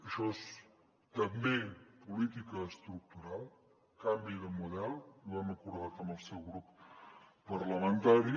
això és també política estructural canvi de model i ho hem acordat amb el seu grup parlamentari